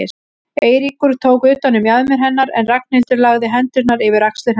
Eiríkur tók utan um mjaðmir hennar en Ragnhildur lagði hendurnar yfir axlir hans.